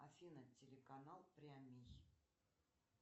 афина телеканал прямий